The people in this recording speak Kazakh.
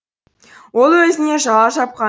ол өзіне жала жапқан